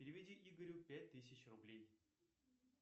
переведи игорю пять тысяч рублей